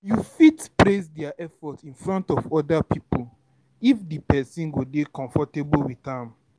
You fit praise their effort in front of oda pipo if di person dey comfortable with am